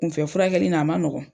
Kunfɛ furakɛli n' a ma nɔgɔn.